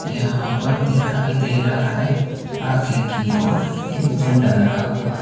यहां पर दिखाई दे रहा है आगे की ओर एक झंडा लगा हुआ--